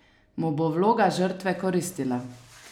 Mu bo vloga žrtve koristila?